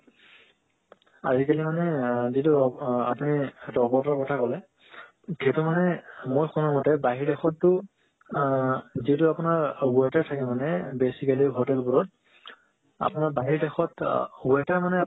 আজি-কলি মানে আ যেটো আপুনি robot ৰ কথা কলে যেটো মানে মোৰ শুনা মতে বাহিৰ দেশত তো আ যেটো আপোনাৰ waiter থাকে মানে basically hotel ৱোৰত আপোনাৰ বাহিৰ দেশত waiter মানে